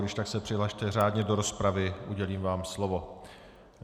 Když tak se přihlaste řádně do rozpravy, udělím vám slovo.